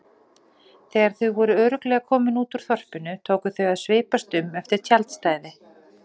Þegar þau voru örugglega komin út úr þorpinu tóku þau að svipast um eftir tjaldstæði.